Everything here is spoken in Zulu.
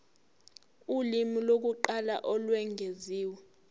ulimi lokuqala olwengeziwe